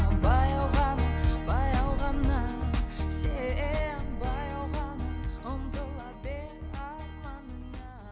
баяу ғана баяу ғана сен баяу ғана ұмтыла бер арманыңа